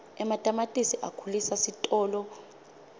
ematamatisi akhulisa sitolo